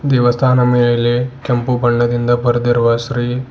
ದೇವಸ್ಥಾನ ಮೇಲೆ ಕೆಂಪು ಬಣ್ಣದಿಂದ ಬರೆದಿರುವ ಶ್ರೀ--